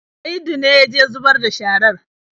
Saidu ne ya je zubar da sharar.